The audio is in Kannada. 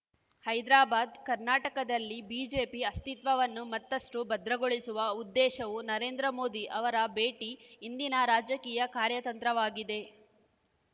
ಹೈದ್ರಾಬಾದ್ ಕರ್ನಾಟಕದಲ್ಲಿ ಬಿಜೆಪಿ ಅಸ್ತಿತ್ವವನ್ನು ಮತ್ತಷ್ಟು ಭದ್ರಗೊಳಿಸುವ ಉದ್ದೇಶವೂ ನರೇಂದ್ರ ಮೋದಿ ಅವರ ಭೇಟಿ ಹಿಂದಿನ ರಾಜಕೀಯ ಕಾರ್ಯತಂತ್ರವಾಗಿದೆ